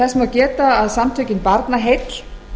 þess má geta að samtökin barnaheill